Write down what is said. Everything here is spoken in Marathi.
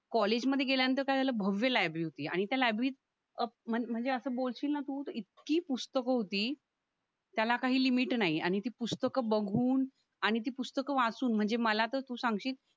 कॉलेजमध्ये गेल्यानंतर काय झालं भव्य लायब्ररी होती आणि त्या लायब्ररीत अं म्हणजे म्हणजे असं बोलशील ना तू कि इतकी पुस्तकं होती त्याला काही लिमिट नाही आणि ती पुस्तकं बघून आणि ती पुस्तकं वाचून म्हणजे मला तर तू सांगशील